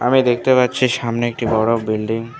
আমি দেখতে পাচ্ছি সামনে একটি বড় বিল্ডিং ।